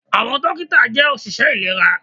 Àwọn dókítà jẹ́ òṣìṣẹ́ ìlera